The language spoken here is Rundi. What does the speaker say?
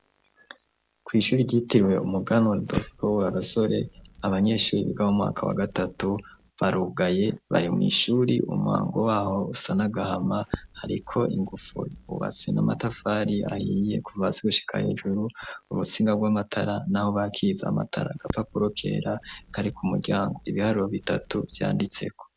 Kw'ishuri ryitirwe umugana waadof gowe agasore abanyeshuri biga mu mwaka wa gatatu barugaye bari mw'ishuri umuhango waho usa n'agahama hariko ingufu ubatse na matafari ahiye kuvatsi ugushikaya ijuru umutsinga bw'amatara, naho bakiza amatara gapapuro kera kari kumuwe gyango ibihariro bitatu vyanditseko.